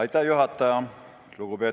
Lugupeetud juhataja!